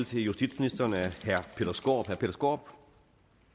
til justitsministeren af herre peter skaarup